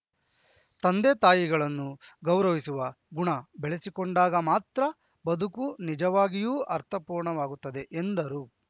ತಂದೆತಾಯಿಗಳನ್ನು ಗೌರವಿಸುವ ಗುಣ ಬೆಳೆಸಿಕೊಂಡಾಗ ಮಾತ್ರ ಬದುಕು ನಿಜವಾಗಿಯೂ ಅರ್ಥಪೂರ್ಣವಾಗುತ್ತದೆ ಎಂದರು